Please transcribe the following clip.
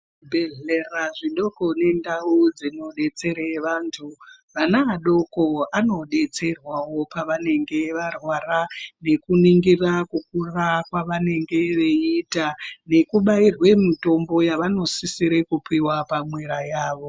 Zvibhehlera zvidoko nendau dzinodetsera vanhu vana adoko anodetserwawo pavanenge varwara, nekuningira kukura kwavanenge veiita, nekubairwe mitombo yavanosisirwa kupuwa pamwera yavo.